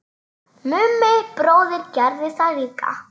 Mummi bróðir gerði það líka.